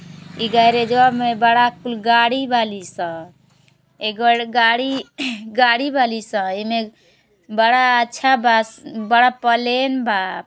ई गेरेजवा गैराज में बडा कुल गाड़ी बाली स। ए गड़ गाड़ी गाड़ी बाली स। एमे बड़ा अच्छा बा। बड़ा पलेन बा।